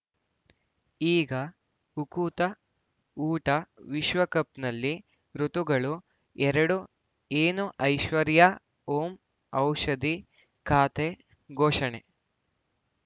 ಈಗ ಉಕುತ ಊಟ ವಿಶ್ವಕಪ್‌ನಲ್ಲಿ ಋತುಗಳು ಎರಡು ಏನು ಐಶ್ವರ್ಯಾ ಓಂ ಔಷಧಿ ಖಾತೆ ಘೋಷಣೆ